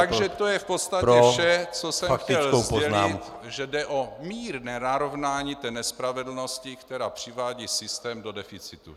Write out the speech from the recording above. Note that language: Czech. Takže to je v podstatě vše, co jsem chtěl sdělit - že jde o mírné narovnání té nespravedlnosti, která přivádí systém do deficitu.